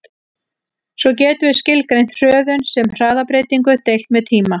Svo getum við skilgreint hröðun sem hraðabreytingu deilt með tíma.